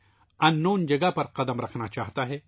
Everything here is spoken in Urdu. کسی نامعلوم مقام پر قدم رکھنا چاہتا ہے